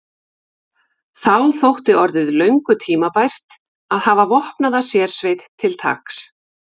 Þá þótti orðið löngu tímabært að hafa vopnaða sérsveit til taks.